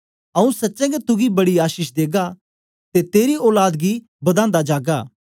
आऊँ सच्चें गै तुगी बड़ी आशीष देगा ते तेरी औलाद गी बदांदा जागा